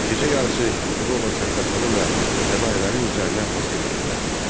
Gecə yarısı yuxuda olan Səttarxanın və fədahilərin üzərinə basqın etdilər.